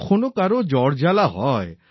কখনও কারো জ্বর জ্বালা হয়